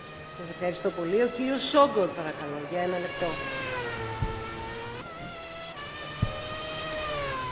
A tagállamok szociális biztonsági rendszerének koordinációja nagyban elősegíti a polgárok EU n belüli szabad mozgását.